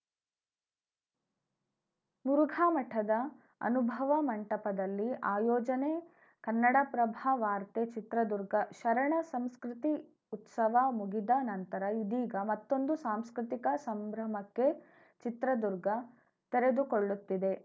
ಮುರುಘಾ ಮಠದ ಅನುಭವ ಮಂಟಪದಲ್ಲಿ ಆಯೋಜನೆ ಕನ್ನಡಪ್ರಭ ವಾರ್ತೆ ಚಿತ್ರದುರ್ಗ ಶರಣ ಸಂಸ್ಕೃತಿ ಉತ್ಸವ ಮುಗಿದ ನಂತರ ಇದೀಗ ಮತ್ತೊಂದು ಸಾಂಸ್ಕೃತಿಕ ಸಂಭ್ರಮಕ್ಕೆ ಚಿತ್ರದುರ್ಗ ತೆರೆದುಕೊಳ್ಳುತ್ತಿದೆ